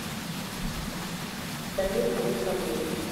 дамир александрович